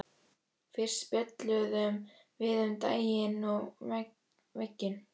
Fyrst spjölluðum við um daginn og veginn.